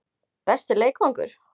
Besti leikvangur?